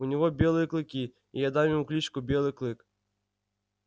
у него белые клыки и я дам ему кличку белый клык